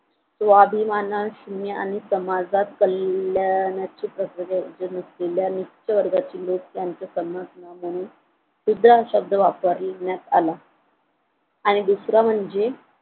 स्वाभिमानाने आणि समाज कल्याणाची कल्याण सुद्धा शब्द वापरण्यात आला आणि दुसरं म्हणजे